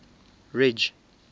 ridge